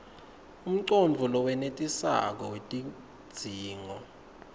umcondvo lowenetisako wetidzingo